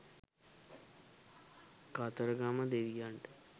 කතරගම දෙවියන්ට